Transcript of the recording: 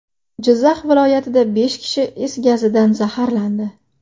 Jizzax viloyatida besh kishi is gazidan zaharlandi.